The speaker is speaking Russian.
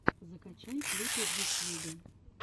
закачай клипы в ютьюбе